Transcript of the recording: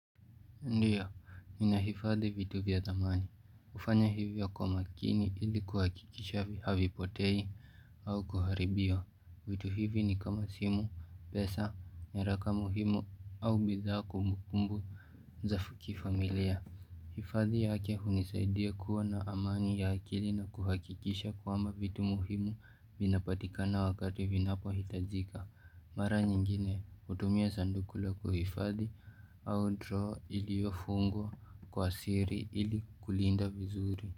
Ndiyo, ninahifadhi vitu vya thamani. Hufanya hivyo kwa makini ili kuhakikisha havipotei au kuharibiwa. Vitu hivi ni kama simu, pesa, nyaraka muhimu au bidhaa kumbukumbu za kifamilia. Hifadhi yake hunisaidia kuwa na amani ya akili na kuhakikisha kwamba vitu muhimu vinapatikana wakati vinapohitajika. Mara nyingine hutumia sanduku la kuhifadhi au droo iliyofungwa kwa siri ili kulinda vizuri.